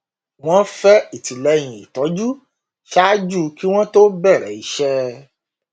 wọn fẹ ìtìlẹyìn ìtọjú ṣáájú kí wọn to bẹrẹ iṣẹ